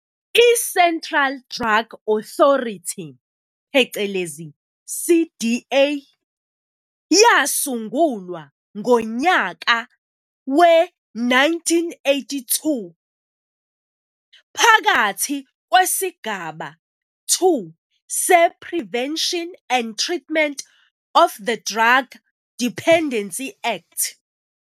ICentral Drug Authority, phecelezi CDA, yasungulwa ngonyaka we-1982, phakathi kwesigaba 2 se-Prevention and Treatment of the Drug Dependency Act.